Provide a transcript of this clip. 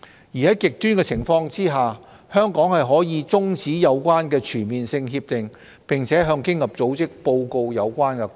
而在極端情況下，香港可以中止有關的全面性協定，並向經濟合作與發展組織報告有關個案。